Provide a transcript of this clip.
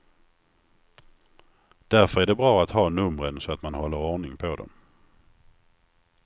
Därför är det bra att ha numren så att man håller ordning på dem.